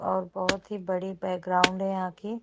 और बहोत ही बड़ी बैकग्राउंड है यहाँ की--